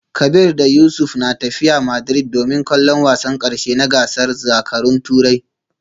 Kabir da Yusuf na tafiya Madrid domin kallon wasan karshe na gasar zakarun Turai